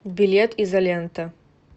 билет изолента